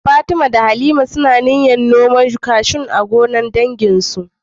Fatima da Halima suna shirin noman bishiyar kashu a gonar danginsu.